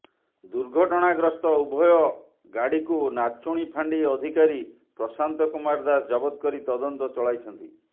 ଦୁର୍ଘଟଣା ଗ୍ରସ୍ତ ଉଭୟ ଗାଡିକୁ ନାଚୁଣୀ ଫାଣ୍ଡି ଅଧିକାରୀ ପ୍ରଶାନ୍ତ କୁମାର ଦାଶ ଜବତ କରି ତଦନ୍ତ ଚଳାଇଛନ୍ତି